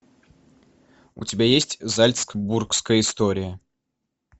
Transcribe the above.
у тебя есть зальцбургская история